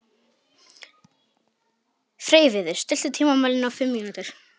Freyviður, stilltu tímamælinn á fimm mínútur.